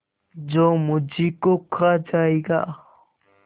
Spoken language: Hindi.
जो मुझी को खा जायगा